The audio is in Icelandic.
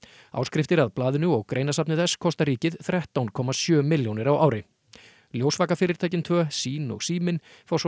áskriftir að blaðinu og greinasafni þess kosta ríkið þrettán komma sjö milljónir á ári tvö sýn og Síminn fá svo